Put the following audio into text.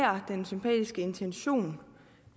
er den sympatiske intention